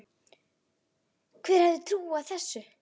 Hver hefði trúað þessu!